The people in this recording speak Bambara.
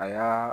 Aa